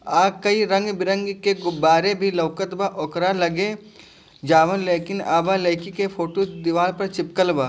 आ कई रंग-बिरंग के गुब्बारे भी लउकत बा ओकरा लगे जाउन लेकिन अवर लईकी के फोटू दिवाल पर चिपकल बा।